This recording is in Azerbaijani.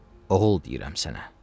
oğul deyirəm sənə.